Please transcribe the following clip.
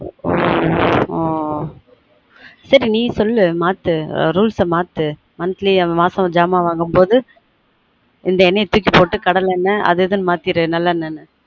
on ஆன் சரி நீ சொல்லு மாத்து rules அ மாத்து monthly இந்த எண்ணெய தூக்கி போட்டு கடலெண்ணெ அது இதுனு மாத்திடு நல்லெண்ணெனு